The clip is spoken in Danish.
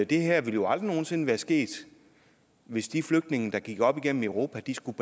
det her jo aldrig nogensinde ville være sket hvis de flygtninge der gik op igennem europa skulle